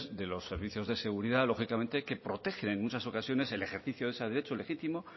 de los servicios de seguridad lógicamente que protegen en muchas ocasiones el ejercicio de ese derecho legítimo